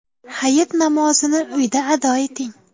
Hayit namozini uyda ado eting.